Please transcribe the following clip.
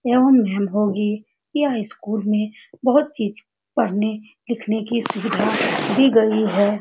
एवं वैन होंगी यह स्कूल में बहुत चीज पढ़ने लिखने की सुविधा दी गई है।